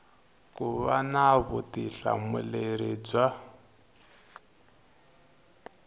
ku va na vutihlamuleri bya